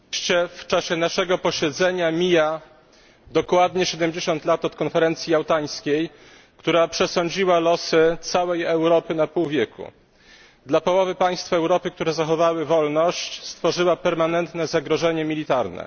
Panie Przewodniczący! W czasie naszego posiedzenia mija dokładnie 70 lat od konferencji jałtańskiej, która przesądziła o losach całej Europy na pół wieku. Dla połowy państw Europy, które zachowały wolność, stworzyła permanentne zagrożenie militarne.